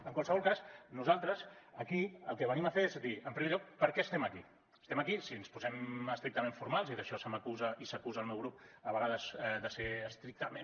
en qualsevol cas nosaltres aquí el que venim a fer és a dir en primer lloc per què estem aquí estem aquí si ens posem estrictament formals i d’això se m’acusa i s’acusa el meu grup a vegades de ser estrictament